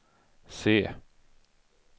se